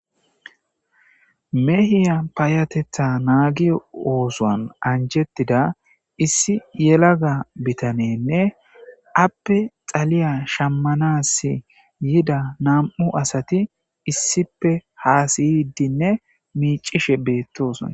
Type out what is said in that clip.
Meehiya payatetha naagiyo oosoan anjettida issi yelaga bitanenne appe xaliya shammanas yida nam7u asati issipe haasiydinne miicishe beettosna.